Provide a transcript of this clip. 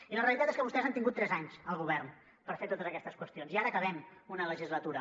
i la realitat és que vostès han tingut tres anys al govern per fer totes aquestes qüestions i ara acabem una legislatura